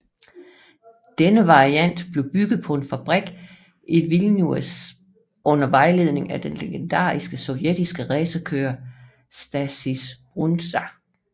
Denne variant blev bygget på en fabrik i Vilnius under vejledning af den legendariske sovjetiske racerkører Stasys Brundza